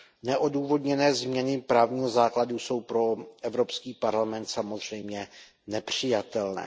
Neodůvodněné změny právního základu jsou pro Evropský parlament samozřejmě nepřijatelné.